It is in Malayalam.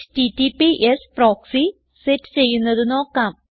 എച്ടിടിപിഎസ് പ്രോക്സി സെറ്റ് ചെയ്യുന്നത് നോക്കാം